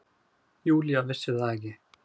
Júlía vissi það ekki.